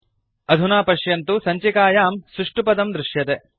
अधुना पश्यन्तु सञ्चिकायां सुष्टुपदं दृश्यते